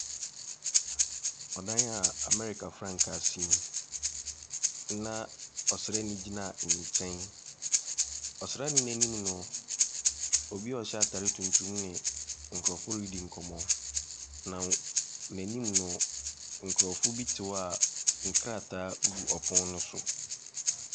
Ɔdan a Amerika frankaa si mu na ɔsraani gyina nkyɛn. Ɔsraani no anim no obi ɔhyɛ ataade tuntum ne nkorɔfoɔ redi nkɔmmɔ na na anim no nkorofoɔ bi te hɔ a nkrataa gugu ɛpono no so.